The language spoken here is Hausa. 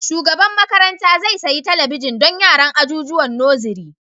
Shugaban makaranta zai sayi talabijin don yaran ajijuwan nosiri